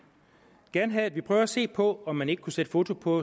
gerne have at vi prøver at se på om man ikke kunne sætte foto på